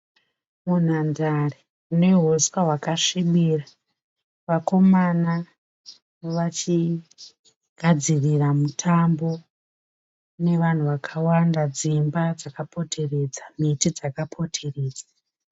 Munhandare mune huswa hwakasvibira. Vakomana vachigadzirira mutambo. Mune vanhu wakawanda dzimba dzakapoteredza miti dzakapoteredza.